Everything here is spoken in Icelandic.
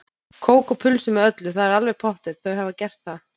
Kók og pulsu með öllu, það er alveg pottþétt, þau hafa gert það.